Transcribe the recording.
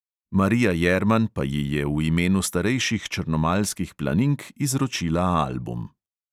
Marija jerman pa ji je v imenu starejših črnomaljskih planink izročila album.